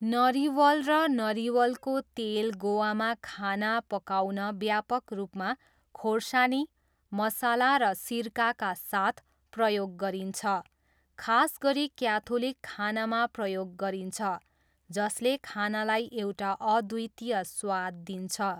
नरिवल र नरिवलको तेल गोवामा खाना पकाउन व्यापक रूपमा खोर्सानी, मसला र सिरकाका साथ प्रयोग गरिन्छ, खास गरी क्याथोलिक खानामा प्रयोग गरिन्छ, जसले खानालाई एउटा अद्वितीय स्वाद दिन्छ।